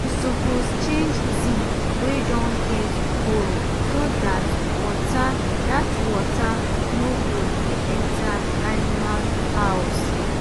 dem suppose change zinc wey don get hole so dat water dat water no go dey enter animal house